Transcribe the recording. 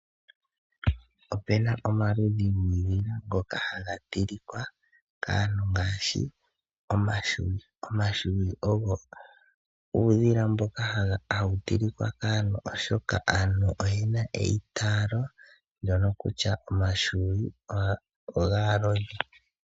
Opu na omaludhi guudhila ngoka haga tilika kaantu ngaashi omahwiyu. Omahwiyu ogo uudhila mboka hawu tilikwa kaantu oshoka aantu oye na eitaalo kutya omahwiyu ogaalodhi.